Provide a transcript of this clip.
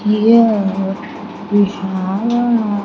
Here we have a --